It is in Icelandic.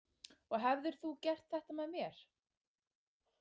Og hefðir þú gert þetta með mér?